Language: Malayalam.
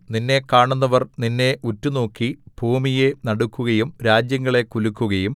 നിന്നെ കാണുന്നവർ നിന്നെ ഉറ്റുനോക്കി ഭൂമിയെ നടുക്കുകയും രാജ്യങ്ങളെ കുലുക്കുകയും